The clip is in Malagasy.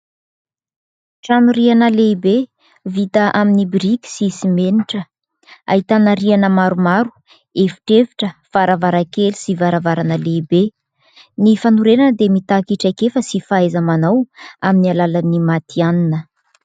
Trano rihana lehibe vita amin'ny biriky sy simenitra, ahitana rihana maromaro, efitrefitra, varavarankely sy varavarana lehibe. Ny fanorenana dia mitaky traikefa sy fahaiza-manao amin'ny alalan'ny matianina.